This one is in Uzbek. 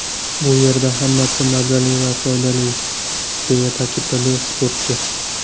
Bu yerda hammasi mazali va foydali”, deya ta’kidladi sportchi.